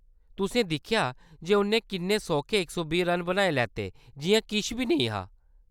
तुसें दिक्खेआ जे उʼन्नै किन्ने सौखे इक सौ बीह् रन बनाई लैते जिʼयां किश बी नेईं हा।